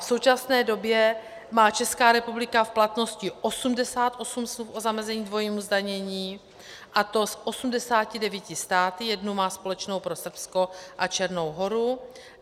V současné době má Česká republika v platnosti 88 smluv o zamezení dvojímu zdanění, a to s 89 státy, jednu má společnou pro Srbsko a Černou Horu.